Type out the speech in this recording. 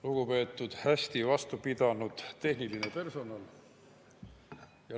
Lugupeetud hästi vastu pidanud tehniline personal!